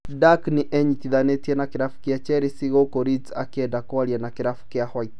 Dunk nĩenyitithanĩtie na kĩrabu kĩa Chelsea gũkũ Leeds ĩkĩenda kwaria na kĩrabu kĩa white